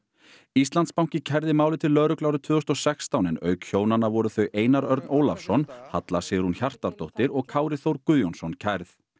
Íslandsbanki kærði málið til lögreglu árið tvö þúsund og sextán en auk hjónanna voru þau Einar Örn Ólafsson Halla Sigrún Hjartardóttir og Kári Þór Guðjónsson kærð